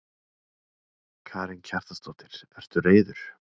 Karen Kjartansdóttir: Ertu reiður?